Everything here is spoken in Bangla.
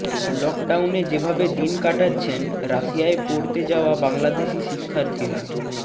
লকডাউনে যেভাবে দিন কাটাচ্ছেন রাশিয়ায় পড়তে যাওয়া বাংলাদেশি শিক্ষার্থীরা